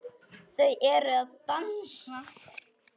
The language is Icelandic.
Þau eru að dansa